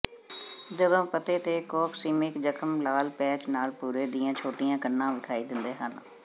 ਜਦੋਂ ਪੱਤੇ ਤੇ ਕੋਕਸੀਮਿਕ ਜ਼ਖ਼ਮ ਲਾਲ ਪੈਚ ਨਾਲ ਭੂਰੇ ਦੀਆਂ ਛੋਟੀਆਂ ਕਣਾਂ ਵਿਖਾਈ ਦਿੰਦੇ ਹਨ